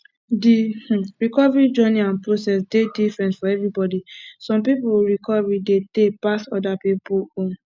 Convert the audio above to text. di um recovery journey and process dey different for everybody some pipo recovery dey tey pass oda pipo own